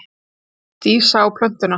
Dísa á plötuna.